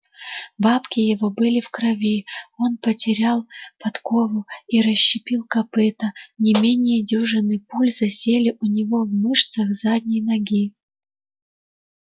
бабки его были в крови он потерял подкову и расщепил копыто не менее дюжины пуль засели у него в мышцах задней ноги